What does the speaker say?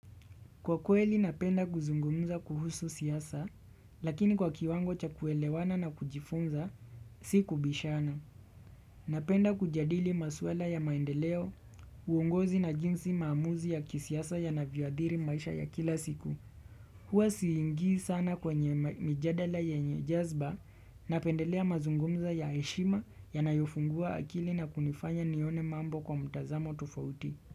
Kwa kweli napenda kuzungumza kuhusu siasa, lakini kwa kiwango cha kuelewana na kujifunza, si kubishana. Napenda kujadili maswala ya maendeleo, uongozi na jinsi maamuzi ya kisiasa yanavyo adhiri maisha ya kila siku. HHwa siingii sana kwenye mijadala yenye jazba napendelea mazungumzo ya heshima yanayofungua akili na kunifanya nione mambo kwa mtazamo tufauti.